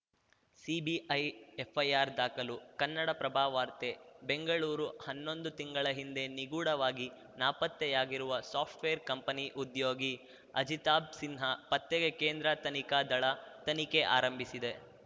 CBI FIR ದಾಖಲು ಕನ್ನಡಪ್ರಭ ವಾರ್ತೆ ಬೆಂಗಳೂರು ಹನ್ನೊಂದು ತಿಂಗಳ ಹಿಂದೆ ನಿಗೂಢವಾಗಿ ನಾಪತ್ತೆಯಾಗಿರುವ ಸಾಫ್ಟ್‌ವೇರ್‌ ಕಂಪನಿ ಉದ್ಯೋಗಿ ಅಜಿತಾಬ್‌ ಸಿನ್ಹಾ ಪತ್ತೆಗೆ ಕೇಂದ್ರ ತನಿಖಾ ದಳ ತನಿಖೆ ಆರಂಭಿಸಿದೆ